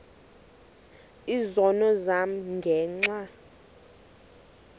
izono zam ngenxa